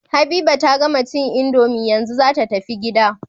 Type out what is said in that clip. Habiba ta gama cin indomie yanzu zata tafi gida